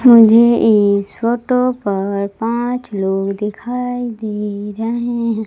मुझे इस फोटो पर पांच लोग दिखाई दे रहे है।